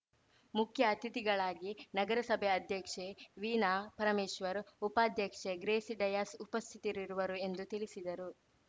ಮುಖ್ಯ ಅತಿಥಿಗಳಾಗಿ ನಗರಸಭೆ ಅಧ್ಯಕ್ಷೆ ವೀಣಾ ಪರಮೇಶ್ವರ್‌ ಉಪಾಧ್ಯಕ್ಷೆ ಗ್ರೇಸಿ ಡಯಾಸ್‌ ಉಪಸ್ಥಿತರಿರುವರು ಎಂದು ತಿಳಿಸಿದರು